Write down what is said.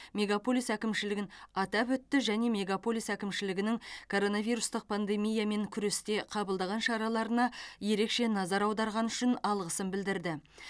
мегаполис әкімшілігін атап өтті және мегаполис әкімшілігінің коронавирустық пандемиямен күресте қабылдаған шараларына ерекше назар аударғаны үшін алғысын білдірді